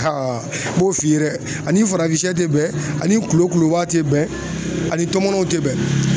n b'o f'i ye dɛ ani farafinsɛ tɛ bɛn ani kulokulo tɛ bɛn ani tɔmɔw tɛ bɛn.